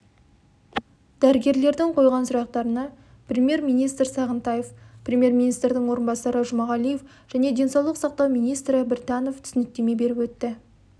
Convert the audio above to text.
дәрігерлердің қойған сұрақтарына премьер-министр сағынтаев премьер-министрдің орынбасары жұмағалиев және денсаулық сақтау министрі біртанов түсініктеме беріп өтті